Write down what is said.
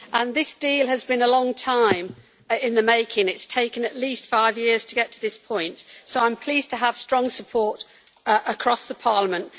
This deal has been a long time in the making it has taken at least five years to get to this point, so I am pleased to have strong support across Parliament.